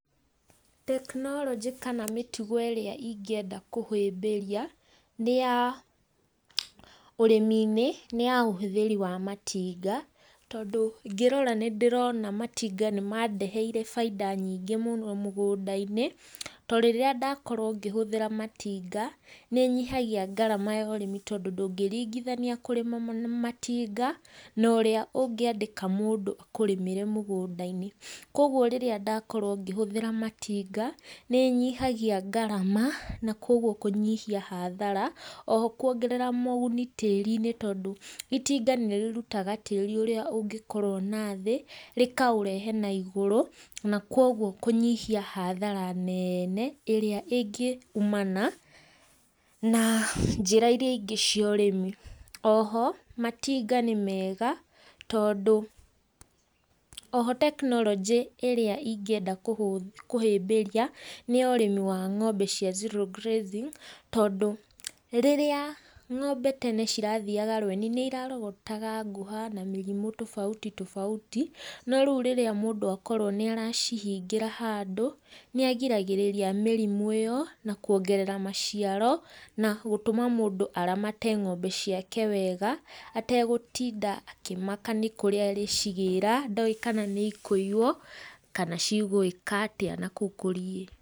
Tekinoronjĩ kana mĩtugo ĩria ingĩenda kũhĩmbĩria nĩ ya ũrĩmi-inĩ nĩ ya ũhũthĩri wa matinga tondũ ingĩrora nĩ ndĩrona matinga nĩ mandeheire bainda nyingĩ mũno mugunda-inĩ. Torĩrĩa ndakorwo ngĩhũthĩra matinga nĩ nyihagia ngarama ya ũrĩmĩ tondũ ndũngĩringithania kũrĩma na matinga na ũrĩa ũngĩandĩka mũndũ akũrĩmĩre mugunda-inĩ. Kogũo rĩrĩa ndakorwo ngĩhũthĩra matinga nĩnyihagia ngarama na kogũo kũnyihia hathara. Oho kũongerera moguni tĩri-inĩ tondũ itinga nĩrĩrũtaga tĩri ũrĩa ũngĩkorwo na thĩ rĩkaũrehe naigũrũ nakogũo kũnyihia hathara neene ĩrĩa ĩngĩ-ũmana na njĩra iria ingĩ cia ũrĩmi, oho matinga nĩ mega tondũ, oho tekinoronjĩ ĩrĩa ingienda kũhĩmbĩria nĩ ya ũrĩmi wa ng'ombe cia zero grazing tondũ rĩrĩa ng'ombe tene cirathiaga rweni nĩirarogotaga ngũha na mĩrimũ tobauti tobauti no rĩũ rĩrĩa mũndũ akorwo nĩ aracihingĩra handũ nĩagiragĩrĩria mĩrimũ ĩyo na kũongerera maciaro na gũtũma mũndũ aramate ng'ombe ciake wega ategũtinda akĩmaka nĩkũrĩa arĩcigĩra ndoĩ kana nĩikũiywo kana cigwĩka atia na kũu kũriĩ.